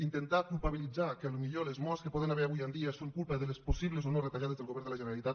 intentar culpabilitzar que potser les morts que hi poden haver avui en dia són culpa de les possibles o no retallades del govern de la generalitat